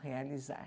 Realizar.